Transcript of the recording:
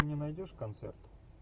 ты мне найдешь концерт